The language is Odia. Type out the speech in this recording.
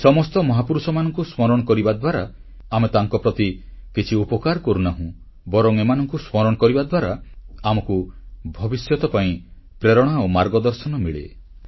ଏହି ସମସ୍ତ ମହାପୁରୁଷମାନଙ୍କୁ ସ୍ମରଣ କରିବା ଦ୍ୱାରା ଆମେ ତାଙ୍କ ପ୍ରତି କିଛି ଉପକାର କରୁନାହୁଁ ବରଂ ଏମାନଙ୍କୁ ସ୍ମରଣ କରିବା ଦ୍ୱାରା ଆମକୁ ଭବିଷ୍ୟତ ପାଇଁ ପ୍ରେରଣା ଆଉ ମାର୍ଗଦର୍ଶନ ମିଳେ